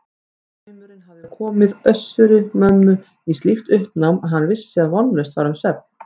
Draumurinn hafði komið Össuri-Mömmu í slíkt uppnám að hann vissi að vonlaust var um svefn.